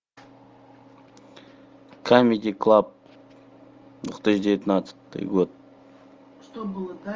камеди клаб две тысячи девятнадцатый год